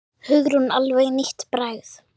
Hugrún: Alveg nýtt bragð?